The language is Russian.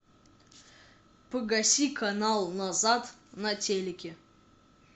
погаси канал назад на телике